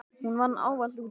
Hún vann ávallt úti.